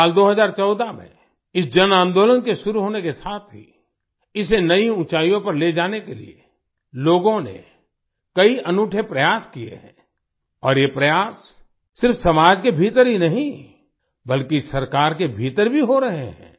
साल 2014 में इस जन आंदोलन के शुरू होने के साथ ही इसे नयी ऊँचाइयों पर ले जाने के लिए लोगों ने कई अनूठे प्रयास किये हैं और ये प्रयास सिर्फ समाज के भीतर ही नहीं बल्कि सरकार के भीतर भी हो रहे हैं